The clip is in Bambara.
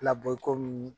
Labɔ komi